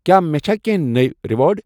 کیٛٛاہ مےٚ چھےٚ کینٛہہ نٔے ریوارڑ؟